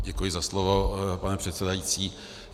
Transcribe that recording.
Děkuji za slovo, pane předsedající.